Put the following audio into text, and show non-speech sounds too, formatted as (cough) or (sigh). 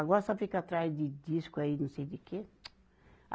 Agora só fica atrás de disco aí, não sei de quê. (clicks tongue)